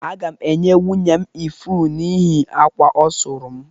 Aga m enye nwunye m ifuru n’ihi akwa ọ sụrụ m